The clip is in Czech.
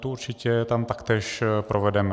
Tu určitě tam taktéž provedeme.